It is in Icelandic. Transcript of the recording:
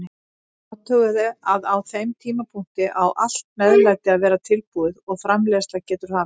Athugaðu að á þeim tímapunkti á allt meðlæti að vera tilbúið og framreiðsla getur hafist.